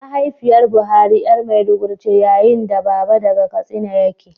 Mahaifiyar Buhari ’yar maiduguri ce, yayin da baba daga Katsina yake